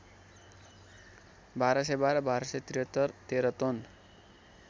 १२१२ १२७३ तेरतोन